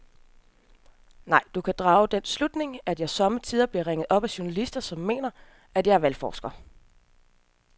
Nej, du kan drage den slutning, at jeg sommetider bliver ringet op af journalister, som mener, at jeg er valgforsker.